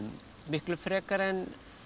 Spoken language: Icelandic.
miklu frekar en